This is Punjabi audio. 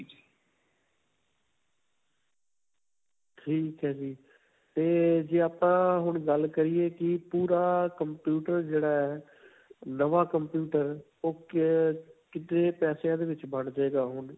ਠੀਕ ਹੈ ਜੀ. ਤੇ ਜੇ ਆਪਾਂ ਹੁਣ ਗੱਲ ਕਰਿਏ ਕਿ ਪੂਰਾ computer ਜਿਹੜਾ ਹੈ, ਨਵਾਂ computer ਉਹ ਕੇ ਕਿੰਨੇ ਪੈਸਿਆਂ ਦੇ ਵਿੱਚ ਬਣ ਜਾਉਗਾ ਹੁਣ?